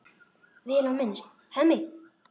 Vel á minnst: Hemmi.